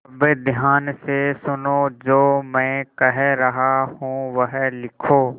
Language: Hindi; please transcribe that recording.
अब ध्यान से सुनो जो मैं कह रहा हूँ वह लिखो